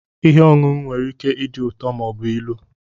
Ihe ọṅụṅụ nwere ike ịdị ụtọ ma ọ bụ ilu.